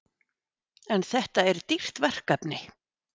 En þetta er dýrt verkefni?